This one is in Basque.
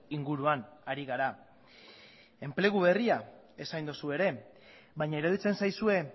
inguruan ari gara enplegu berria esan dozu ere baina iruditzen zaizue